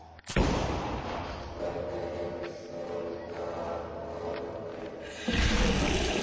Að allt verði einsog það á að vera.